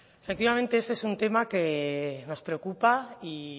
efectivamente este es un tema que nos preocupa y